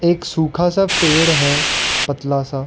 एक सूखा सा पेड़ है पतला सा--